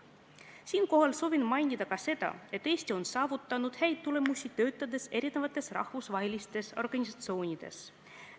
Siinkohal soovin mainida ka seda, et Eesti on saavutanud häid tulemusi erinevates rahvusvahelistes organisatsioonides töötades.